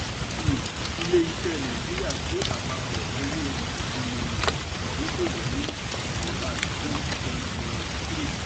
um ilé iṣé nàìjíríà gé àpapọ̀ owó ìrìnà ìdọ́kowọ̀ ní q one twenty twenty three.